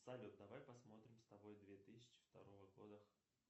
салют давай посмотрим с тобой две тысячи второго года